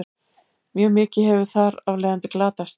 mjög mikið hefur þar af leiðandi glatast